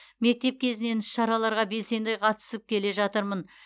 мектеп кезінен іс шараларға белсенді қатысып келе жатырмын